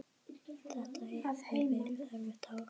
Þetta hefur verið erfitt ár.